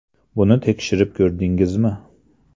Buni tekshirib ko‘rdingizmi?